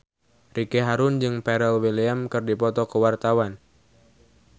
Ricky Harun jeung Pharrell Williams keur dipoto ku wartawan